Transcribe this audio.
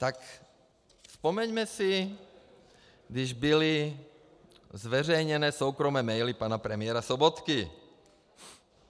Tak vzpomeňme si, když byly zveřejněné soukromé maily pana premiéra Sobotky.